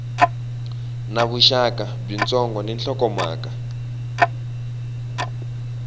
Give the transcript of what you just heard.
na vuxaka byitsongo ni nhlokomhaka